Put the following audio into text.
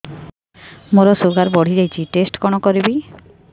ମୋର ଶୁଗାର ବଢିଯାଇଛି ଟେଷ୍ଟ କଣ କରିବି